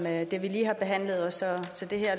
jeg